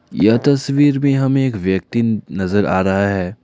यह तस्वीर भी हमें एक व्यक्ति नजर आ रहा है।